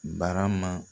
Barama